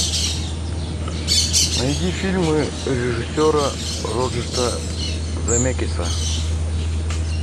найди фильмы режиссера роберта земекиса